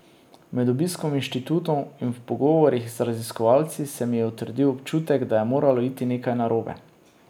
Med obiskom inštitutov in v pogovorih z raziskovalci se mi je utrdil občutek, da je moralo iti nekaj narobe.